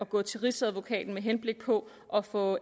gå til rigsadvokaten med henblik på at få